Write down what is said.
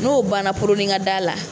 N'o banna poronin ka d'a la